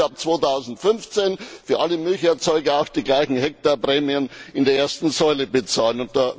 Dann müssen wir ab 2015 für alle Milcherzeuger auch die gleichen Hektarprämien in der ersten Säule bezahlen.